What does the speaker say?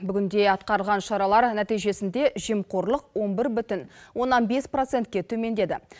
бүгінде атқарылған шаралар нәтижесінде жемқорлық он бір бүтін оннан бес процентке төмендеді